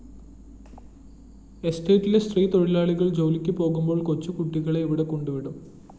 എസ്റ്റേറ്റിലെ സ്ത്രീതൊഴിലാളികള്‍ ജോലിക്ക് പോകുമ്പോള്‍ കൊച്ചുകുട്ടികളെ ഇവിടെ കൊണ്ടുവിടും